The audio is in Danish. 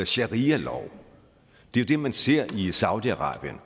sharialov det er det man ser i saudi arabien